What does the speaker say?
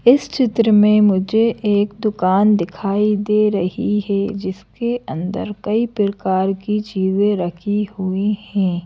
इस चित्र में मुझे एक दुकान दिखाई दे रही है जिसके अंदर कई प्रकार की चीजें रखी हुई हैं।